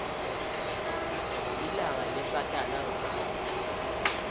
lilanga lesatana ngalo